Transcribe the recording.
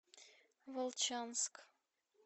волчанск